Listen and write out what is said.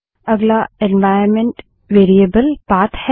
अगला environment variable path है